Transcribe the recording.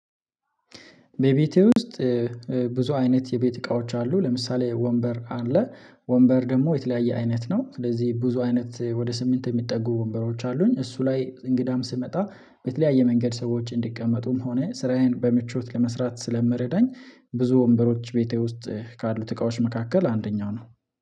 በቤቴ ውስጥ ብዙ አይነት የቤት እቃዎች አሉ። ለምሳሌ ወንበር አለ ወንበር ደግሞ የተለያየ አይነት ነው። ስለዚህ ብዙ አይነት ወደ ስምንት የሚጠጉ ወንበሮች አሉኝ። እሱ ላይ እንግዳም ሲመጣ በተለያየ መንገድ ሰዎች እንዲቀመጡም ሆነ ስራዬን በምቾት ለመስራት ስለምረዳኝ። ብዙ ወንበሮች ቤቴ ውስጥ ካሉት እቃዎች መካከል አንደኛው ነው